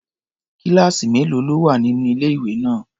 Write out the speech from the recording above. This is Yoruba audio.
Kíláàsì mélòó ló wà nínú ilé-ìwé náà?